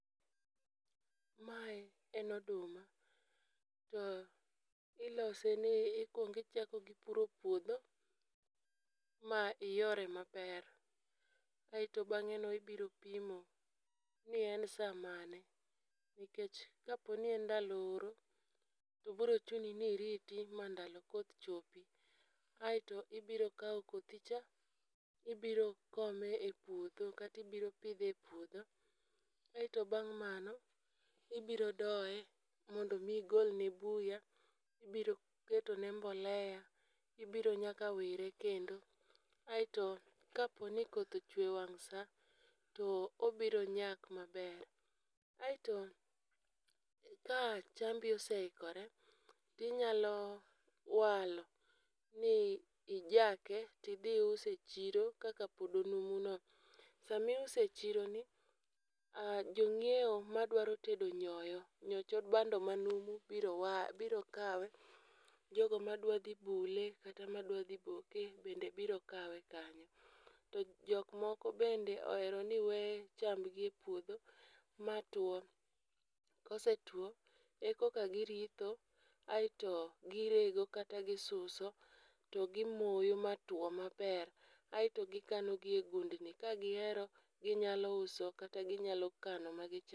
Mae en oduma , to ilose ni ikwong ichako gi puro puodho ma iyore maber. Kaeto bang'e no ibiro pimo ni en saa mane nikech kapo ni en ndalo oro to bro chuni ni iriti ma ndalo koth chopi .Aeto ibiro kawo kothi cha ibiro kome e puodho kata ibiro pidhe e puodho aeto bang' mano ibiro doye mondo mi igol ne buya ibiro keto ne mbolea, ibiro nyaka wire kendo. Aeto kapo ni koth ochwe e wang' saa tobiro nyak maber. Aeto ka chambi oseikore, tinyalo walo ni ijake tidhi use chiro kaka pod onumu no. Sami use e chiro ni jo ng'iewo madwaro tedo nyoyo nyoch bando manumu biro wa biro kawe, jogo madwaro dhi bule kata madwa dhi boke bende biro kawe kanyo. Jok moko be ohero ni wee chamngi e puodho matwo .Kosetwo e koka giritho aeto girego kata gisuso to gi moyo matuo maber aeto gikano gi e gundni. Ka gihero ginyalo uso kata ginyalo kano ma gichamo.